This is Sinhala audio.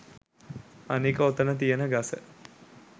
අනික ඔතන තියෙන ගස